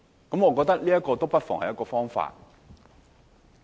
我覺得這不失為一個方法。